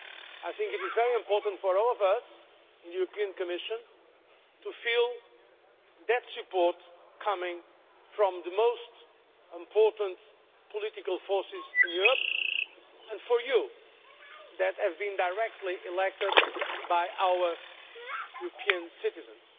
I think it is very important for all of us in the European Commission to feel that support coming from the most important political forces in Europe and for you, who have been directly elected by our European citizens.